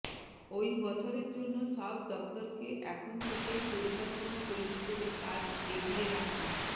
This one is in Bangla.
ওই বছরের জন্য সব দফতরকে এখন থেকেই পরিকল্পনা তৈরি করে কাজ এগিয়ে রাখার